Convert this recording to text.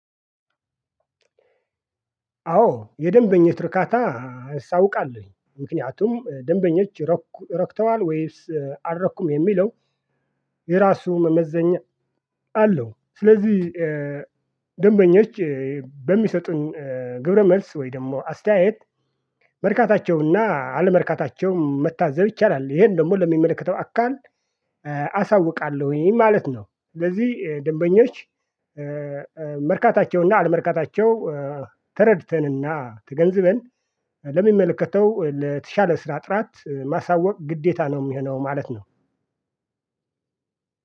አዎ የደንበኞች እርካታ አሳውቃለሁኝ ምክንያቱም ደንበኞች ረኩ ረክተዋል ወይስ አልረኩም የሚለው የራሱ መመዘኛ አለው፣ ስለዚህ ደንበኞች በሚሰጡን ግብረ መልስ ወይ ደግሞ አስተያየት መርካታቸው እና አለመርካታቸውን መታዘብ ይቻላል። ይሄን ደግሞ ለሚመለከተው አካል አሳውቃ ይህን ማለት ነው። ስለዚህ ደንበኞች መርካታቸው እና አለመርካታቸው ተረድተን እና ተገንዝበን ለሚመለከተው ለተሻለ ስራ ጥራት ማሳወቅ ግዴታ ነው ሚሆነው ማለት ነው።